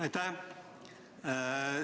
Aitäh!